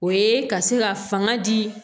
O ye ka se ka fanga di